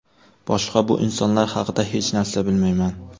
Boshqa bu insonlar haqida hech narsa bilmayman.